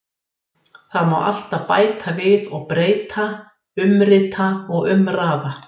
Það má alltaf bæta við og breyta, umrita og umraða.